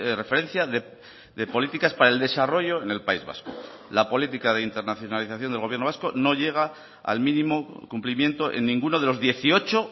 referencia de políticas para el desarrollo en el país vasco la política de internacionalización del gobierno vasco no llega al mínimo cumplimiento en ninguno de los dieciocho